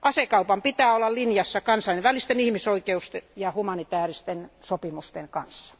Asekaupan pitää olla linjassa kansainvälisten ihmisoikeussopimusten ja humanitaaristen sopimusten kanssa.